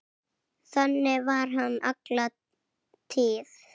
Þannig var hann alla tíð.